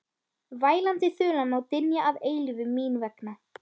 Vælandi þulan má dynja að eilífu mín vegna.